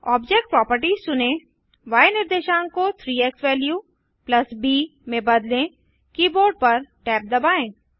object properties चुनें य निर्देशांक को 3 एक्सवैल्यू ब में बदलें कीबोर्ड पर टैब दबाएँ